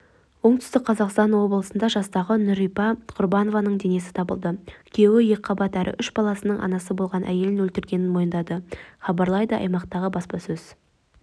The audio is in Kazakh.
оңтүстік қазақстан облысында жастағы нурипа құрбанованың денесі табылды күйеуі екіқабат әрі үш баланың анасы болған әйелін өлтіргенін мойындады хабарлайды аймақтағы баспасөз